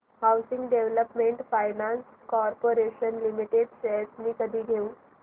housing development finance corporation limited shares मी कधी घेऊ